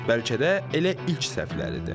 Bəlkə də elə ilk səhvləridir.